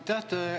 Aitäh!